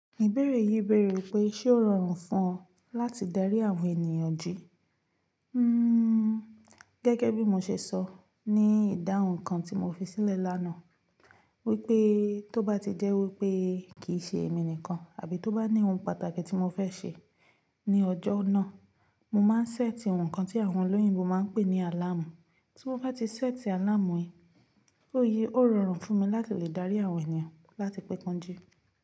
Ìbéèrè yìí bèèrè wípé ṣé ó rọrùn fún ọ láti darí àwọn ènìyàn jí. Hmm gẹ́gẹ́ bí mo ṣe sọ ní ìdáhùn kan tí mo fi sílẹ̀ lánàá, wípé tó bá ti jẹ́ wípé kì í ṣe èmi nìkan àbí tó bá ní ohun pàtàkì tí mo fẹ́ ṣe ní ọjọ́ náà, mo máa ń ṣẹ́ẹ̀tì àwọn ǹkan tí àwọn olóyìnbo máa ń pè ní alámù. Tí mo bá ti ṣẹ́ẹ̀tì alámù yìí, ó yé ó rọrùn fún mi láti lè dárí àwọn ènìyàn láti pẹ́ kán jí.